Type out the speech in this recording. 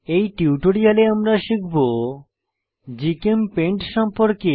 এই টিউটোরিয়ালে আমরা শিখব জিচেমপেইন্ট সম্পর্কে